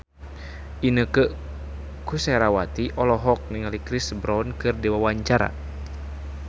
Inneke Koesherawati olohok ningali Chris Brown keur diwawancara